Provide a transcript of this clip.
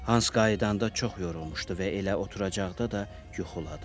Hans qayıdanda çox yorulmuşdu və elə oturacaqda da yuxuladı.